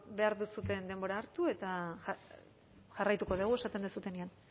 bueno behar duzuen denbora hartu eta jarraituko dugu esaten duzuenean